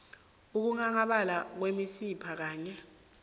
ukunghanghabala kwemisipha kanye